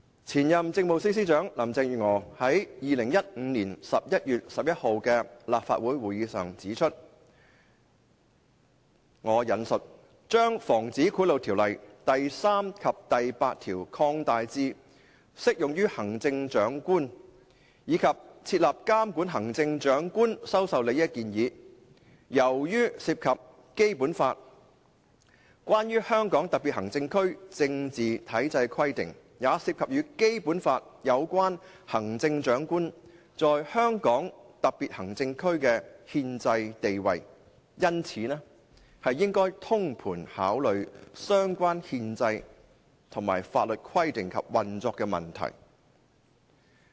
前任政務司司長林鄭月娥於2015年11月11日的立法會會議上指出，"將《防止賄賂條例》第3條及第8條擴大至適用於行政長官，以及設立監管行政長官收受利益的建議，由於涉及《基本法》關於香港特別行政區政治體制的規定，也涉及與《基本法》有關行政長官在香港特別行政區的憲制地位，因此應該通盤考慮相關憲制和法律規定及運作問題。